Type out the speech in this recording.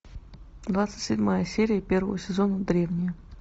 двадцать седьмая серия первого сезона древние